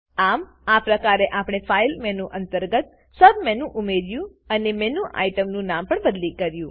આમ આ પ્રકારે આપણે ફાઈલ મેનુ અંતર્ગત સબમેનુ ઉમેર્યું અને મેનુ આઇટમનું નામ પણ બદલી કર્યું